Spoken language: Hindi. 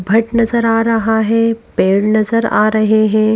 भट नजर आ रहा है पेड़ नजर आ रहे हैं।